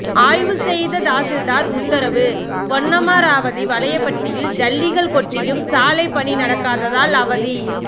ஆய்வு செய்த தாசில்தார் உத்தரவு பொன்னமராவதி வலையபட்டியில் ஜல்லிகள் கொட்டியும் சாலை பணி நடக்காததால் அவதி